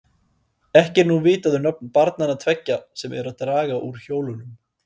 Ekki er nú vitað um nöfn barnanna tveggja, sem eru að draga úr hjólunum.